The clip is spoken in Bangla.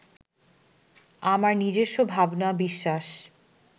আমার নিজস্ব ভাবনা, বিশ্বাস